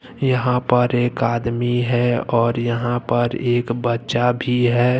यहां पर एक आदमी है और यहां पर एक बच्चा भी है।